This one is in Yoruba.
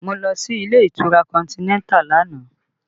Mo lọ sí ilé ìtura Continental lánàá